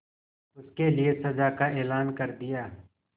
उसके लिए सजा का ऐलान कर दिया